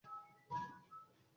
Kí ni orúkọ oníròyìn náà?